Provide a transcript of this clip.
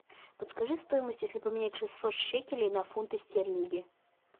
подскажи стоимость если поменять шестьсот шекелей на фунты стерлинги